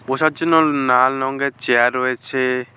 বসার জন্য না-নাল রঙের চেয়ার রয়েছে।